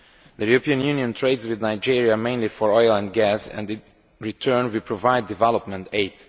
The European Union trades with Nigeria, mainly for oil and gas, and in return we provide development aid.